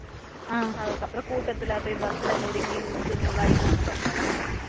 அதுக்கப்றம் கூட்டத்துல போய் bus ல நொந்து நூலாகிதா அதுக்கப்றம் வந்தோம்